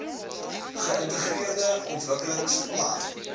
geintegreerde ontwikkelings plan